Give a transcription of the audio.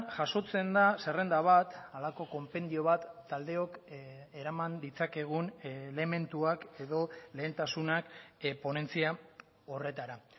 jasotzen da zerrenda bat halako konpendio bat taldeok eraman ditzakegun elementuak edo lehentasunak ponentzia horretara